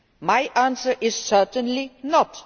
My answer is certainly